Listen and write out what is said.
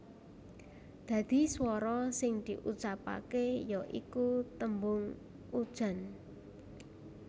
Dadi swara sing diucapaké ya iku tembung Ujan